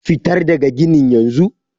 fitar daga ginin yanzu!